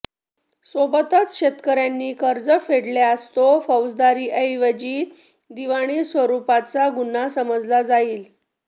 सोबतच शेतकऱ्यांनी कर्ज फेडल्यास तो फौजदारीऐवजी दिवाणी स्वरुपाचा गुन्हा समजला जाईल